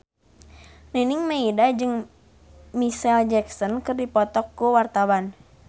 Nining Meida jeung Micheal Jackson keur dipoto ku wartawan